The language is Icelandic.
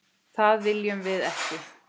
Það viljum við ekki.